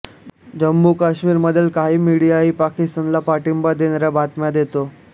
जम्मूकाश्मीरमधील काही मीडियाही पाकिस्तानला पाठिंबा देणाऱ्या बातम्या देतो